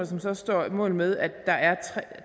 som så står mål med at der er